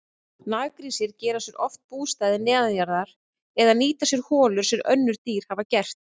Naggrísir gera sér oft bústaði neðanjarðar eða nýta sér holur sem önnur dýr hafa gert.